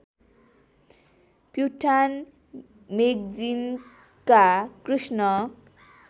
प्युठान मेगजिनका कृष्ण